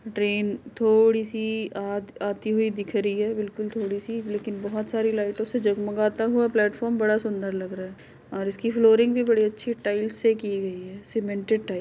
train थोड़ी सी आत आती हुई दिख रही है बिलकुल थोड़ी सी लेकिन बहुत सारी लाइटों से जगमाता हुआ प्लेटफार्म बड़ा सुन्दर लग रहा है और इसकी फ्लोरिंग भी बड़े अच्छे टाइल्स से की गयी है सीमेंटेड टाइल्स |